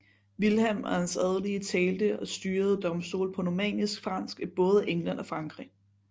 Vilhelm og hans adelige talte og styrede domstole på normannisk fransk i både England og Frankrig